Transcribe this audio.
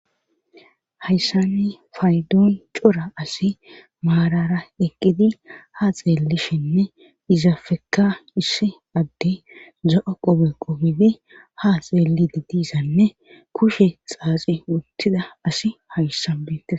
hayssani paydoon cora asi maarara eqqidi ha xeellishinne izafekka issi addi za7a qobe qobidi ha xeelli de diisanne kushe xaaxi wuttida asi hayssan bente